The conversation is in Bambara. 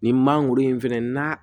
Nin mangoro in fana na